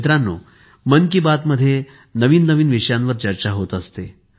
मित्रानो मन कि बात मध्ये नवीन नवीन विषयांवर चर्चा होत असते